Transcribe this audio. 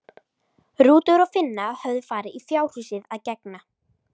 Rútur og Finna höfðu farið í fjárhúsið að gegna.